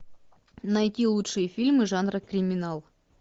найти лучшие фильмы жанра криминал